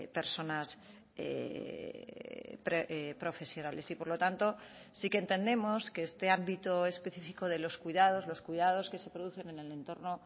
personas profesionales y por lo tanto sí que entendemos que este ámbito específico de los cuidados los cuidados que se producen en el entorno